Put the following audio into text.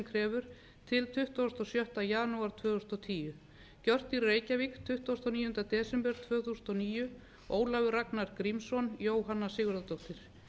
krefur til tuttugasta og sjötta janúar tvö þúsund og tíu gjört í reykjavík tuttugasta og níunda desember tvö þúsund og níu ólafur ragnar grímsson jóhanna sigurðardóttir